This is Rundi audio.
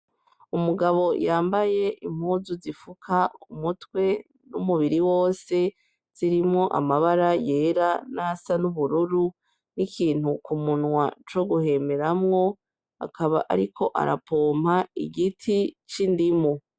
Umugabo yambaye impuzu zifuka umutwe n'umubiri wose zirimwo amabara yera n'asa n'ubururu n'ikintu kumunwa co guhemeramwo akaba, ariko arapompa igiti c'indimo.